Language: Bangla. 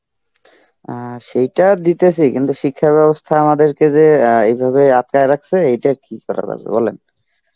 অ্যাঁ সেইটা দিতেছি কিন্তু শিক্ষাব্যবস্থা আমাদেরকে যে অ্যাঁ এইভাবে আটকায় রাখছে এইটা কী করা যাবে বলেন.